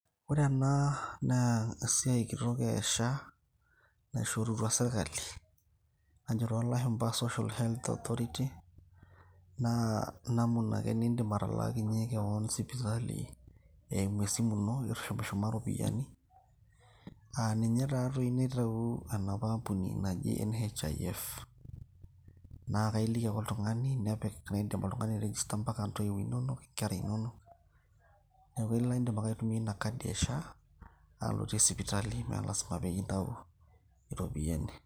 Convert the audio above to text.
Ore ena naa esiai kitok e SHA, naishorutua serkali, najo tolashumpa Social Health Authority ,naa namuna ake niidim atalakinye keon sipitali, eimu esimu ino, itushuma iropiyiani. Ah ninye tatoi naitawuo enapa ampuni naji NHIF. Na kailiki ake oltung'ani nepik, na idim oltung'ani airejista mpaka ntoiwuo inonok, inkera inonok. Neeku ailo idim ake aitumia inakadi e SHA, alotie sipitali. Me lasima peyie intau iropiyiani.